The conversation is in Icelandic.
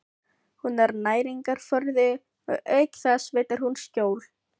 Hún er næringarforði og auk þess veitir hún skjól.